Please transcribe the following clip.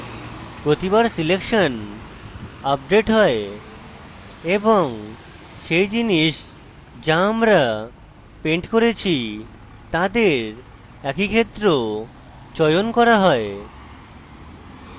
প্রতিবার selection update হয় এবং সেই জিনিস যেত আমরা পেন্ট করেছি তাদের একই ক্ষেত্র চয়ন করা হয়